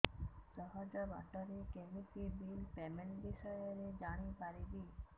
ସହଜ ବାଟ ରେ କେମିତି ବିଲ୍ ପେମେଣ୍ଟ ବିଷୟ ରେ ଜାଣି ପାରିବି